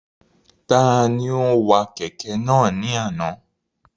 Ta ni ó wa kẹ̀kẹ́ náà ni àná?